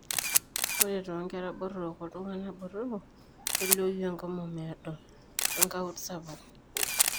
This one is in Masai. Ore toonkera botorok oltung'anak botorok, kelioyu enkomom eedo oengaunt sapuk.